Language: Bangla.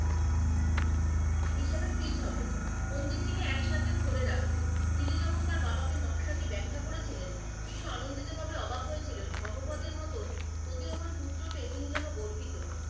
হিসাবে fit হবে, মন্দিরটিকে একসাথে ধরে রাখবে। তিনি যখন তার বাবাকে নকশাটি ব্যাখ্যা করেছিলেন, বিষু আনন্দিত ভাবে অবাক হয়েছিলেন ধর্মোপদের মতোন প্রতিভাবান পুত্র পেয়ে তিনি যেন গর্বিত,